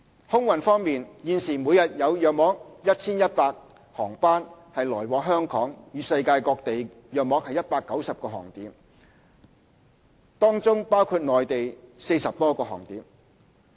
空運方面，現時每日有約 1,100 航班來往香港與世界各地約190個航點，當中包括內地40多個航點。